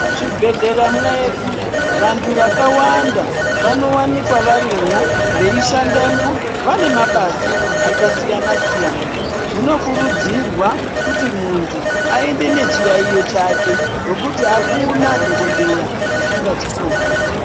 Muzvibhedhlera mwedu vantu vakawanda vanovanikwa varimwo veishandamwo vane mabasa akasiyana-siyana. Zvinokurudzirwa kuti muntu aende nechiyaiyo chake nekuti hakuna dhogodheya asingachikoni.